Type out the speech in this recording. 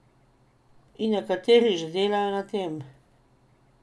In nekateri že delajo na tem.